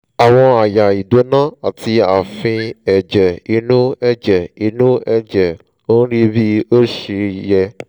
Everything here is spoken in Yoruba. ṣó dáa kéèyàn máa ka ìwé yìí lẹ́yìn tó bá ti ní àrùn ọkàn? jọ̀wọ́ ṣàlàyé